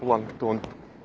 планктон